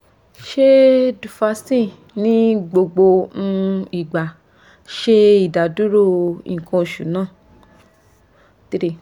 ṣe duphaston ni gbogbo um igba ṣe idaduro nkan osu naa? 3